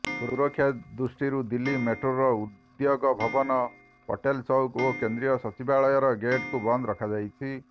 ସୁରକ୍ଷା ଦୃଷ୍ଟିରୁ ଦିଲ୍ଲୀ ମେଟ୍ରୋର ଉଦ୍ୟୋଗ ଭବନ ପଟେଲ ଚୌକ ଓ କେନ୍ଦ୍ରୀୟ ସଚିବାଳୟର ଗେଟ୍କୁ ବନ୍ଦ ରଖାଯାଇଛି